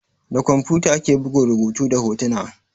Da kwamfuta ake bugun rubutu da hotuna.